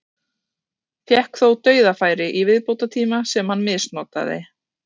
Fékk þó dauðafæri í viðbótartíma sem hann misnotaði.